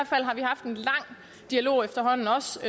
dialog efterhånden også